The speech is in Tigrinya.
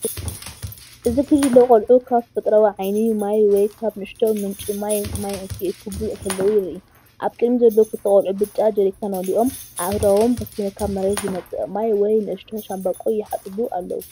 እዚ ጕጅለ ቆልዑ ኻብ ተፈጥሮኣዊ ዓይኒ ማይ ወይ ካብ ንእሽቶ ምንጪ ማይ ማይ ኪእክቡ ኸለዉ የርኢ። ኣብ ቅድሚት ዘለዉ ኽልተ ቆልዑ ብጫ ጀሪካን መሊኦም ኣእዳዎም በቲ ካብ መሬት ዝመፅእ ማይ ወይ ንእሽቶ ሻምብቆ ይሓፀቡ ኣለዉ።